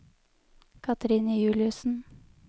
Katrine Juliussen